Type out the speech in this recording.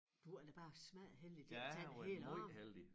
Du er da bare smadderheldig de ikke har taget hele æ arm